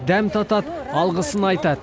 дәм татады алғысын айтады